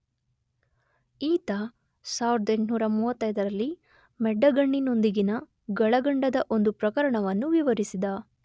ಈತ 1835ರಲ್ಲಿ ಮೆಡ್ಡಗಣ್ಣಿನೊಂದಿಗಿನ ಗಳಗಂಡದ ಒಂದು ಪ್ರಕರಣವನ್ನು ವಿವರಿಸಿದ.